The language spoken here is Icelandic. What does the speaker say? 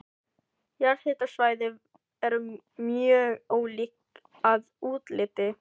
Jarðhitasvæði eru mjög ólík að útliti.